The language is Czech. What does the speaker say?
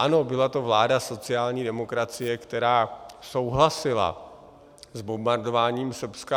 Ano, byla to vláda sociální demokracie, která souhlasila s bombardováním Srbska.